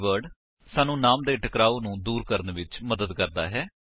this keyword ਸਾਨੂੰ ਨਾਮ ਦੇ ਟਕਰਾਓ ਨੂੰ ਦੂਰ ਕਰਨ ਵਿੱਚ ਮਦਦ ਕਰਦਾ ਹੈ